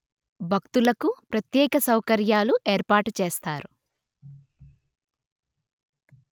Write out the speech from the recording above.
భక్తులకు ప్రత్యేక సౌకర్యాలు ఏర్పాటు చేస్తారు